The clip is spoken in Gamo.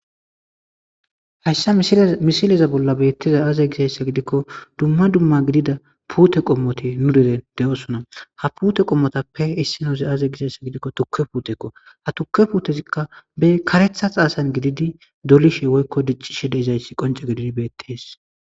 hayssa misileza bolla beettiza aazey gisayssa gidikko dumma dumma gidida puute qommote nu diren de7oosona ha pute qommotappe issinozi aaze gisayssa gidikko tukke puutekko ha tukke puutezikka be karetha aasan gididi dolishe woykko diccishe deizayssi qonce gididi beettees